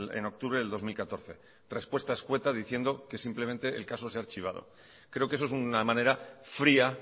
en octubre del dos mil catorce respuesta escueta diciendo que simplemente el caso se ha archivado creo que eso es una manera fría